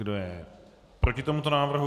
Kdo je proti tomuto návrhu?